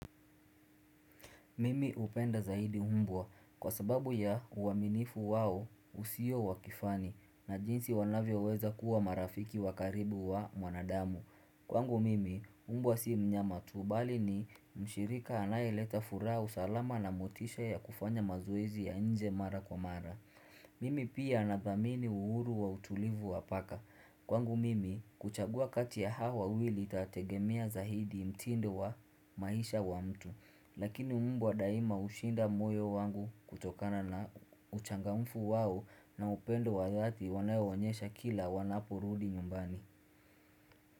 Mimi hupenda zaidi umbwa kwa sababu ya uaminifu wao usio wakifani na jinsi wanavyoweza kuwa marafiki wakaribu wa mwanadamu. Kwangu mimi, mbwa si mnyama tu bali ni mshirika anayeleta furaha usalama na motisha ya kufanya mazoezi ya nje mara kwa mara. Mimi pia anadhamini uhuru wa utulivu wa paka. Kwangu mimi, kuchagua kati ya hawa wawili itategemea zaidi mtindo wa maisha wa mtu. Lakini mbwa daima hushinda moyo wangu kutokana na uchangamfu wao na upendo wa dhati wanao onyesha kila wanaporudi nyumbani.